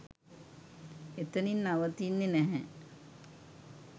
එතනින් නවතින්නෙ නැහැ.